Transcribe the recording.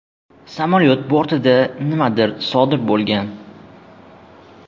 Samolyot bortida nimadir sodir bo‘lgan.